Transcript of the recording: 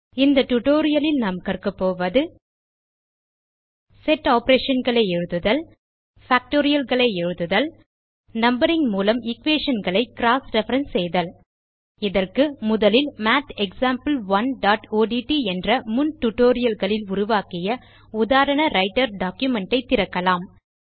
இந்த டியூட்டோரியல் நாம் கற்கப் போவது செட் operationகளை எழுதுதல் Factorialகளை எழுதுதல் நம்பரிங் மூலம் equationகளை க்ராஸ் ரெஃபரன்ஸ் செய்தல் இதற்கு முதலில் mathexample1ஒட்ட் என்ற முன் tutorialகளில் உருவாக்கிய உதாரண ரைட்டர் டாக்குமென்ட் ஐ திறக்கலாம்